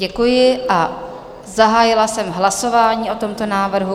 Děkuji a zahájila jsem hlasování o tomto návrhu.